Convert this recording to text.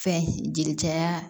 Fɛn jeli caya